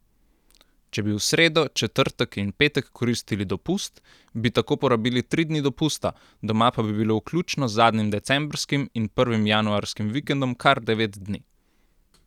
Če bi v sredo, četrtek in petek koristili dopust, bi tako porabili tri dni dopusta, doma pa bi bili vključno z zadnjim decembrskim in prvim januarskim vikendom kar devet dni.